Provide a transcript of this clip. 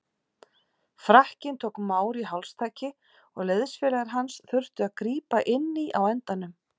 Frakkinn tók Mauri hálstaki og liðsfélagar hans þurftu að grípa inn í á endanum.